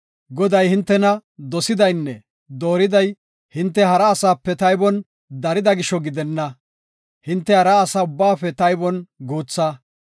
Goday hintena dosidaynne dooriday hinte hara asaape taybon darida gisho gidenna. Hinte hara asa ubbaafe taybon guutha.